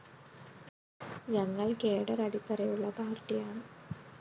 ഞങ്ങള്‍ കാഡർ അടിത്തറയുള്ള പാര്‍ട്ടിയാണ്